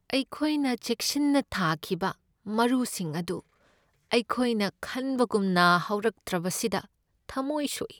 ꯑꯩꯈꯣꯏꯅ ꯆꯦꯛꯁꯤꯟꯅ ꯊꯥꯈꯤꯕ ꯃꯔꯨꯁꯤꯡ ꯑꯗꯨ ꯑꯩꯈꯣꯏꯅ ꯈꯟꯕꯒꯨꯝꯅ ꯍꯧꯔꯛꯇ꯭ꯔꯕꯁꯤꯗ ꯊꯃꯣꯏ ꯁꯣꯛꯏ ꯫